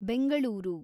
Bengaluru